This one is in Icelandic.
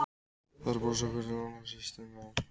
Þær brosa hvor til annarrar, systurnar.